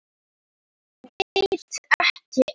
Og veit ekki enn!